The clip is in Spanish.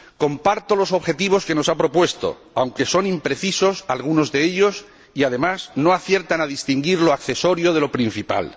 Comparto los objetivos que nos ha propuesto, aunque son imprecisos algunos de ellos y, además, no aciertan a distinguir lo accesorio de lo principal.